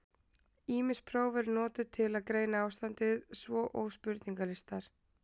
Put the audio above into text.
Ýmis próf eru notuð til að greina ástandið, svo og spurningalistar.